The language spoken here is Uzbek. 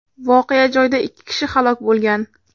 Voqea joyida ikki kishi halok bo‘lgan.